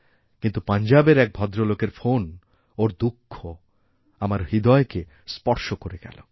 কিন্তু পঞ্জাবের এক ভদ্রলোকের ফোন ওঁর দুঃখআমার হৃদয়কে স্পর্শ করে গেল